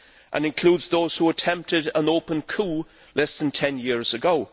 and includes those who attempted an open coup less than 10 years ago.